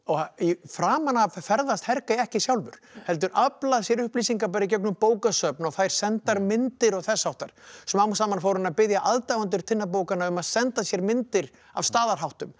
framan af ferðast ekki sjálfur heldur aflar sér upplýsinga bara í gegnum bókasöfn og fær sendar myndir og þess háttar smám saman fór hann að biðja aðdáendur Tinnabókanna að senda sér myndir af staðarháttum